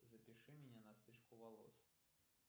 запиши меня на стрижку волос